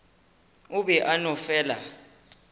o be a no fela